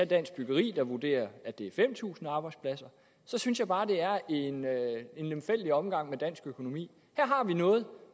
dansk byggeri vurderer at det er fem tusind arbejdspladser så synes jeg bare at det er en lemfældig omgang med dansk økonomi her har vi noget